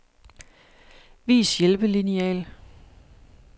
Vis hjælpelineal.